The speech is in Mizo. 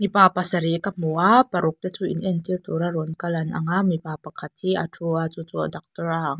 mipa pasarih ka hmu a paruk te chu in entir tur a lo kal an ang a mipa pakhat hi a thu a chu chu daktor a ang a --